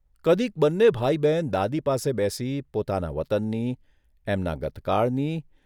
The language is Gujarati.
કદીક બંને ભાઇ બહેન દાદી પાસે બેસી પોતાના વતનની, એમના ગતકાળની